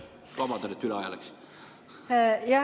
Vabandust, et üle aja läksin!